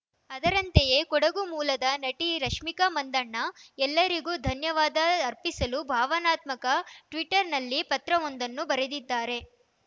ಅದರಂತೆಯೇ ಕೊಡಗು ಮೂಲದ ನಟಿ ರಶ್ಮಿಕಾ ಮಂದಣ್ಣ ಎಲ್ಲರಿಗೂ ಧನ್ಯವಾದ ಅರ್ಪಿಸಲು ಭಾವನಾತ್ಮಕ ಟ್ವೀಟರ್‌ನಲ್ಲಿ ಪತ್ರವೊಂದನ್ನು ಬರೆದಿದ್ದಾರೆ